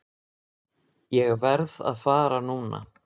Ég verð að fara núna!